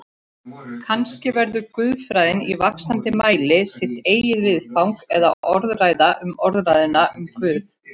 Kannski verður guðfræðin í vaxandi mæli sitt eigið viðfang eða orðræða um orðræðuna um Guð.